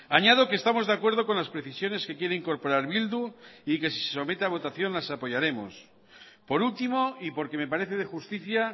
añado que estamos de acuerdo con las precisiones que quiere incorporar bildu y que si se somete a votación las apoyaremos por último y porque me parece de justicia